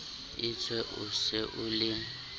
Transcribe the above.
etswe o se o le